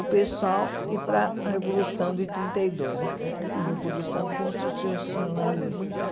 o pessoal ir para a Revolução de trinta e dois, a Revolução Constitucionalista.